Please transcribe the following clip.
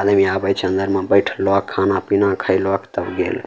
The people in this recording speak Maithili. आदमी आबे छै अंदर में बैठलक खाना-पीना खेलक तब गेल।